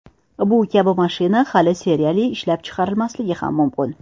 Bu kabi mashina hali seriyali ishlab chiqarilmasligi ham mumkin.